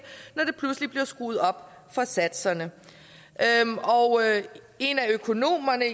når der pludselig bliver skruet op for satserne og en af økonomerne